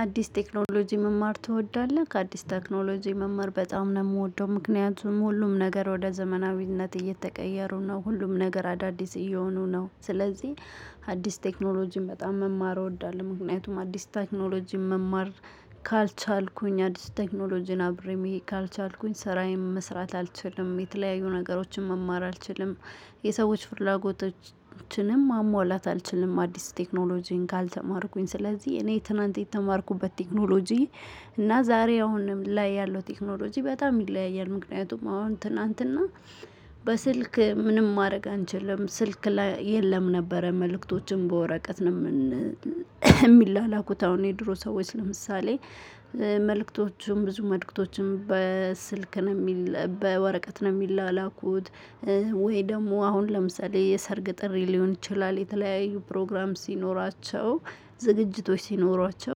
አዲስ ቴክኖሎጂ መማር ትወዳለህ? ከአዲስ ቴክኖሎጂ መማር በጣም ነው የምወደው ምክንያቱም ሁሉም ነገር ወደ ዘመናዊነት እየተቀየሩ ነው ሁሉም ነገር አዳዲስ እየሆኑ ነው። ስለዚህ አዲስ ቴክኖሎጂም በጣም መማር እወዳለሁ ምክንያቱም አዲስ ቴክኖሎጂን መማር ካልቻልኩኝ አዲስ ቴክኖሎጂን አብሬ መሄድ ካልቻልኩኝ ስራዬም መስራት አልችልም የተለያዩ ነገሮችን መማር አልችልም። የሰዎች ፍላጎቶችንም ማሟላት አልችልም አዲስ ቴክኖሎጂን ካልተማርኩኝ ስለዚህ እኔ ትናንት የተማርኩበት ቴክኖሎጂ። እና ዛሬ አሁንም ላይ ያለው ቴክኖሎጂ በጣም ይለያያል ምክንያቱም አሁን ትናንትና። በስልክ ምንም ማድረግ አንችልም ስልክ ላይ የለም ነበረ። መልእክቶችን በወረቀት ነው የምን የሚላኩት አሁን የድሮ ሰዎች ለምሳሌ። መልእክቶቹም ብዙ መልእክቶችም በስልክ ነው ሚል በወረቀት ነው የሚላላኩት። ወይ ደግሞ አሁን ለምሳሌ የሰርግ ጥሪ ሊሆን ይችላል። የተለያዩ ፕሮግራም ሲኖራቸው ዝግጅቶች ሲኖራቸው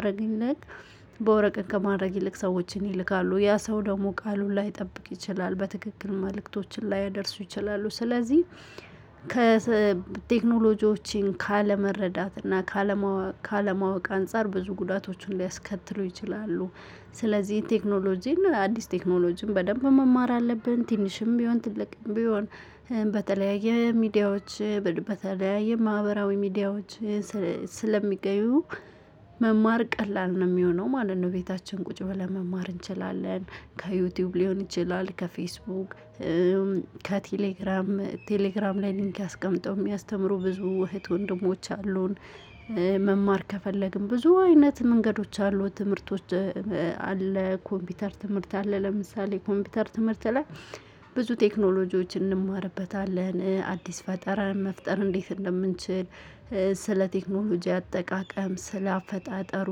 ማድረግ ይልቅ በወረቅን ከማድረግ ይልቅ ሰዎችን ይልካሉ ያ ሰው ደግሞ ቃሉን ላይጠብቅ ይችላል። በትክክል መልእክቶችን ላይ ያደርሱ ይችላሉ ስለዚህ ከቴክኖሎጂዎችን ካለመረዳት እና ካለማወቅ አንፃር ብዙ ጉዳቶቹን ሊያስከትሉ ይችላሉ። ስለዚህ ቴክኖሎጂን አዲስ ቴክኖሎጂን በደንብ መማር አለብን። ትንሽም ቢሆን ትልቅም ቢሆን በተለያየ ሚዲያዎች በተለያዩ ማህበራዊ ሚዲያዎች ስለሚገኙ መማር ቀላል ነው የሚሆነው ማለት ነው። ቤታችን ቁጭ ብለን መማር እንችላለን። ከዩቲዩብ ሊሆን ይችላል ከፌስቡክ ከቴሌግራም ቴሌግራም ላይ ሊንክ አስቀምጠው የሚያስተምሩ ብዙ እህት ወንድሞች አሉን። መማር ከፈለግን ብዙ አይነት መንገዶች አሉ። ትምህርቶች አለ ኮምፒውተር ትምህርት አለ ለምሳሌ ኮምፒውተር ትምህርት ላይ ብዙ ቴክኖሎጂዎችን እንማርበታለን። አዲስ ፈጣራን መፍጠር እንዴት እንደምንችል። ስለ ቴክኖሎጂ አጠቃቀም ስለ አፈጣጠሩ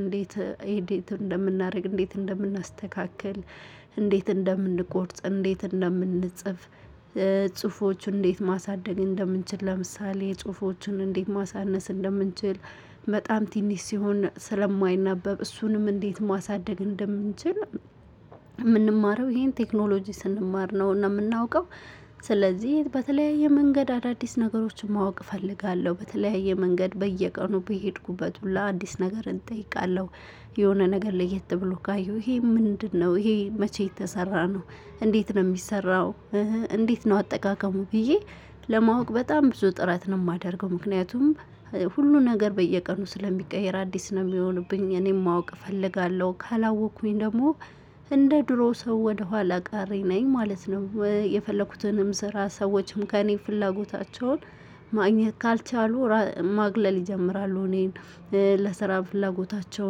እንዴት እንዴት እንደምናደርግ እንዴት እንደምናስተካክል እንዴት እንደምንቆርጽ እንዴት እንደምንጽፍ። ጽሁፎች እንዴት ማሳደግ እንደምንችል ለምሳሌ ጽሁፎችን እንዴት ማሳነስ እንደምንችል። በጣም ትንሽ ሲሆን ስለማይነበብ እሱንም እንዴት ማሳደግ እንደምንችል። የምንማረው ይሄን ቴክኖሎጂ ስንማር ነው እና የምናውቀው። ስለዚህ በተለያየ መንገድ አዳዲስ ነገሮችን ማወቅ እፈልጋለሁ በተለያየ መንገድ በየቀኑ በሄድኩበት ለአዲስ ነገር እጠይቃለሁ። የሆነ ነገር ለየት ብሎ ካየሁ ይሄ ምንድነው? ይሄ መቼ የተሰራ ነው? እንዴት ነው የሚሰራው? እንዴት ነው አጠቃቀሙ ብዬ ለማወቅ በጣም ብዙ ጥረት ነው። የማደርገው ምክንያቱም ሁሉ ነገር በየቀኑ ስለሚቀየር አዲስ ነው የሚሆንብኝ እኔም ማወቅ እፈልጋለሁ። ካላወቅኩኝ ደግሞ እንደ ድሮው ሰው ወደ ኋላ ቀሪ ነኝ ማለት ነው። የፈለኩትንም ስራ ሰዎችም ከእኔ ፍላጎታቸውን ማግኘት ካልቻሉ ማግለል ይጀምራሉ እኔን። ለስራ ፍላጎታቸው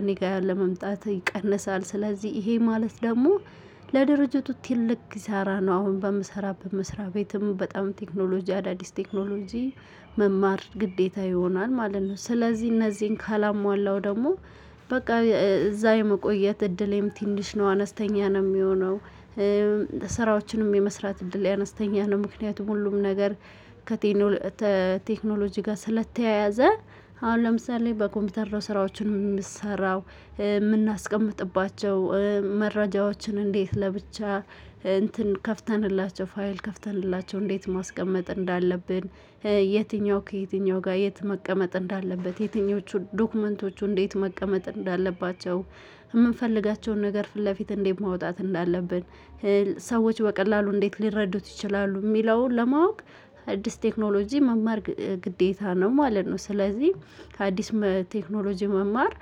እኔ ጋር ለመምጣት ይቀንሳል። ስለዚህ ይሄ ማለት ደግሞ ለድርጅቱ ትልቅ ኪሳራ ነው። አሁን በምሰራበት መስራ ቤትም በጣም ቴክኖሎጂ አዳዲስ ቴክኖሎጂ መማር ግዴታ ይሆናል ማለት ነው። ስለዚህ እነዚህን ካላሟላው ደግሞ በቃ እዛ የመቆየት እድሌም ትንሽ ነው አነስተኛ ነው የሚሆነው። ስራዎችንም የመስራት እድሌ አነስተኛ ነው ምክንያቱም ሁሉም ነገር ከቴክኖሎጂ ጋር ስለተያያዘ። አሁን ለምሳሌ በኮምፒውተር ነው ስራዎችን የምትሰራው የምናስቀምጥባቸው መረጃዎችን እንዴት ለብቻ እንትን ከፍተንላቸው ፋይል ከፍተንላቸው እንዴት ማስቀመጥ እንዳለብን። የትኛው ከየትኛው ጋር የት መቀመጥ እንዳለበት የትኞቹ ዶክመንቶቹ እንዴት መቀመጥ እንዳለባቸው። የምንፈልጋቸውን ነገር ፊት ለፊት እንዴት ማውጣት እንዳለብን። ሰዎች በቀላሉ እንዴት ሊረዱት ይችላሉ የሚለውን ለማወቅ። አዲስ ቴክኖሎጂ መማር ግዴታ ነው ማለት ነው። ስለዚህ ከአዲስ ቴክኖሎጂ መማር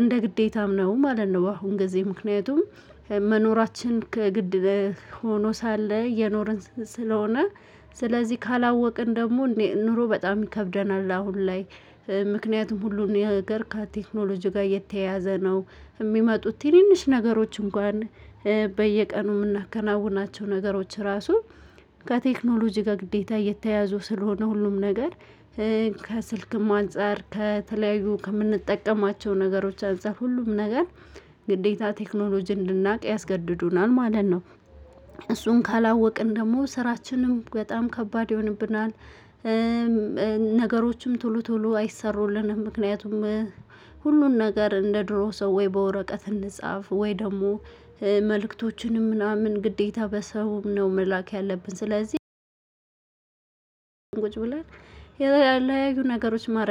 እንደ ግዴታም ነው ማለት ነው። አሁን ጊዜ ምክንያቱም መኖራችን ከግድ ሆኖ ሳለ እየኖርን ስለሆነ። ስለዚህ ካላወቅን ደግሞ ኑሮ በጣም ይከብደናል አሁን ላይ። ምክንያቱም ሁሉን ነገር ከቴክኖሎጂ ጋር የተያያዘ ነው። የሚመጡት ትንንሽ ነገሮች እንኳን በየቀኑ የምናከናውናቸው ነገሮች ራሱ ከቴክኖሎጂ ጋር ግዴታ እየተያዙ ስለሆነ ሁሉም ነገር። ከስልክም አንፃር ከተለያዩ ከምንጠቀማቸው ነገሮች አንፃር ሁሉም ነገር ግዴታ ቴክኖሎጂ እንድናውቅ ያስገድዱናል ማለት ነው። እሱን ካላወቅን ደግሞ ስራችንም በጣም ከባድ ይሆንብናል። ነገሮችም ቶሎ ቶሎ አይሰሩልንም ምክንያቱም ሁሉን ነገር እንደ ድሮ ሰው ወይ በወረቀት እንጻፍ ወይ ደግሞ መልእክቶችንም ምናምን ግዴታ በሰውም ነው መላክ ያለብን ስለዚህ። ቁጭ ብለን የሌላ ያዩ ነገሮች ማድረግ